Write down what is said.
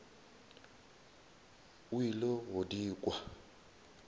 o ile go di kwa